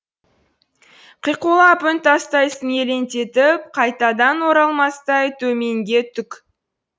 қиқулап үн тастайсың елеңдетіп қайтадан оралмастай төменге түк